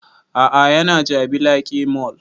A'a ya na jabi lake mall